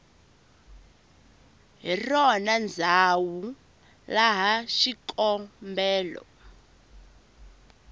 hi rona ndzhawu laha xikombelo